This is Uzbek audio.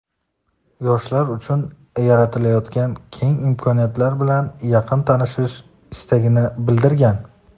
yoshlar uchun yaratilayotgan keng imkoniyatlar bilan yaqindan tanishish istagini bildirgan.